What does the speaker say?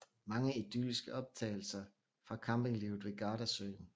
Mange idylliske optagelser fra campinglivet ved Gardasøen